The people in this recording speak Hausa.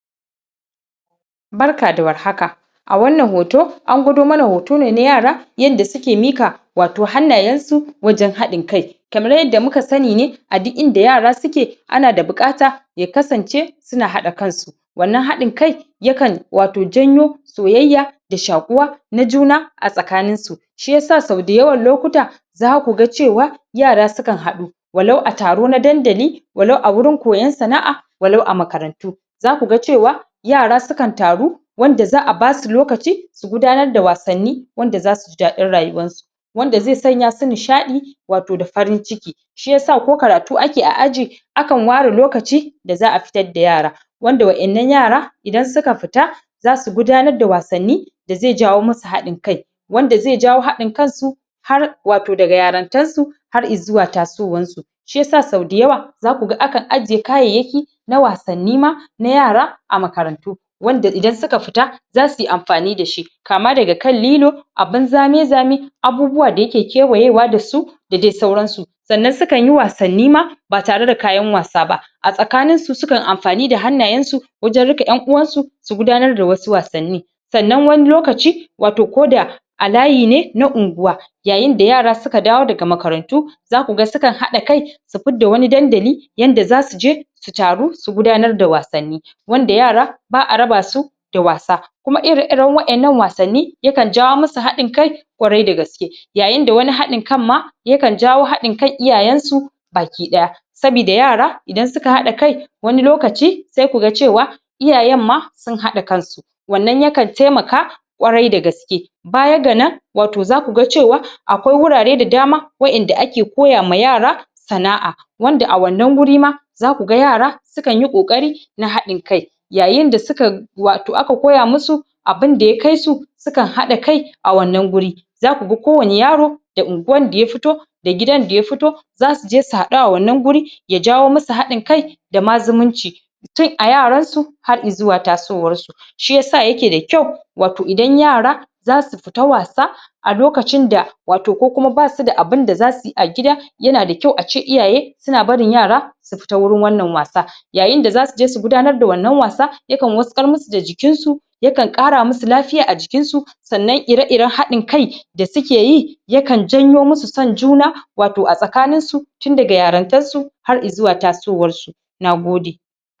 Barka da war haka a wannan hoto an gwado mana hoto ne na yara yanda suke mika wato hannayensu wajen haɗin-kai kamar yadda muka sani ne a duk inda yara suke ana da buƙata ya kasance su na haɗa kansu wannan haɗin-kai ya kan wato janyo soyayya da shakuwa na juna a tsakaninsu shi yasa sau dayawan lokuta za ku ga cewa yara su kan haɗu walau a taro na dandali walau a wurin koyon sana'a walau a makarantu za ku ga cewa yara su kan taru wanda za a ba su lokaci su gudanar da wasanni wanda za su jib dadin rayuwansu wanda zai sanya su nishaɗi wato da farin-ciki shi yasa ko karatu ake a aji akan ware lokaci da za a fitar da yara wanda waƴannan yara idan su ka fita za su gudanar da wasanni da zai jawo musu haɗin-kai wanda ze jawo haɗin-kansu har wato daga yarantarsu har izuwa tasowansu shi yasa sau dayawa za ku ga akan ajiye kayayyaki na wasanni ma na yara a makarantu wanda idan su ka fita za su yi amfani da shi kama daga kan lilo abin zame-zame abubuwa da yake kewaye wa da su da de sauransu sannan su kan yi wasanni ma ba tare da kayan wasa ba a tsakaninsu su kan amfani da hannayensu wajen riƙe ɗan uwansu su gudanar da wasu wasanni sannan wani lokaci wato ko da a layi ne na unguwa yayin da yara su ka dawo daga makarantu za su ga su kan haɗa kai su fidda wani dandali yanda za su je su taru su gudanar da wasanni wanda yara ba a raba su da wasa kuma ire-iren waƴannan wasanni ya kan jawo musu haɗin-kai ƙwarai da gaske yayin da wani haɗin-kan ma ya kan jawo haɗin-kan iyaayensu bakiɗaya sabida yara idan su ka haɗa kai wani lokaci sai ku ga cewa iyayen ma sun haɗa kansu wannan ya kan temaka ƙwarai da gaske baya ga nan wato za ku ga cewa akwai wurare da dama waƴanda ake koya ma yara sana'a wanda a wannan wuri ma za ku ga yara su kan yi ƙoƙari na haɗin-kai yayin da suka wato aka koya musu abin da ya kai su su kan haɗa kai a wannan guri za ku ga kowane yaro da unguwan da ya fito da gidan da ya fito za su je su haɗu a wannan guri ya jawo musu haɗin-kai da ma zumunci tun a yaransu har izuwa tasowarsu shi yasa yake da kyau wato idan yara za su fita wasa a lokacin da wato ko kuma ba su da abin da za su yi a gida yana da kyau a ce iyaye su na barin yara su fita wurin wannan wasa yayin da za su je su gudanar da wannan wasa ya kan waskar musu da jiikinsu ya kan ƙara musu lafiya a jikinsu sannan ire-iren haɗin-kai da suke yi ya kan janyo musu son juna wato a tsakaninsu tun daga yarintarsu har izuwa tasowarsu na gode